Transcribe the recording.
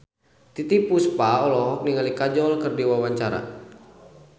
Titiek Puspa olohok ningali Kajol keur diwawancara